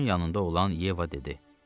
Onun yanında olan Yeva dedi.